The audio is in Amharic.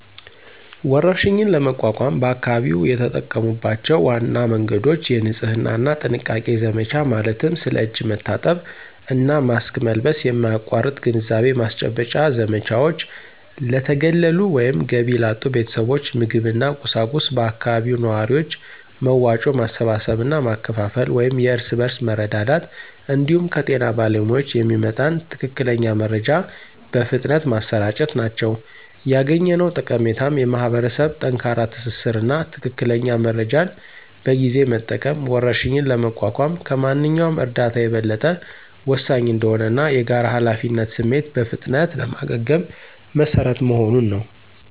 ወረርሽኝን ለመቋቋም በአካባቢው የተጠቀሙባቸው ዋና መንገዶች: የንጽህና እና ጥንቃቄ ዘመቻ ማለትም ስለ እጅ መታጠብ እና ማስክ መልበስ የማያቋርጥ ግንዛቤ ማስጨበጫ ዘመቻዎች፣ ለተገለሉ ወይም ገቢ ላጡ ቤተሰቦች ምግብና ቁሳቁስ በአካባቢው ነዋሪዎች መዋጮ ማሰባሰብ እና ማከፋፈል (የእርስ በርስ መረዳዳት) እንዲሁም ከጤና ባለሙያዎች የሚመጣን ትክክለኛ መረጃ በፍጥነት ማሰራጨት ናቸው። ያገኘነው ጠቀሜታም የማኅበረሰብ ጠንካራ ትስስር እና ትክክለኛ መረጃን በጊዜ መጠቀም ወረርሽኝን ለመቋቋም ከማንኛውም እርዳታ የበለጠ ወሳኝ እንደሆነ እና የጋራ ኃላፊነት ስሜት በፍጥነት ለማገገም መሰረት መሆኑን ነው።